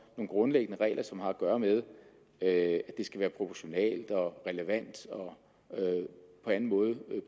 grundlæggende regler som har at gøre med at det skal være proportionalt relevant og på anden måde